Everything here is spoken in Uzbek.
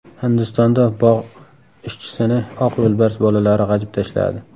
Hindistonda bog‘ ishchisini oq yo‘lbars bolalari g‘ajib tashladi.